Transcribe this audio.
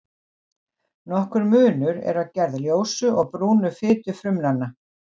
Nokkur munur er á gerð ljósu og brúnu fitufrumnanna.